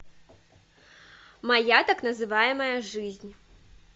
моя так называемая жизнь